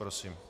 Prosím.